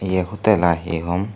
ye hotel i hi hom.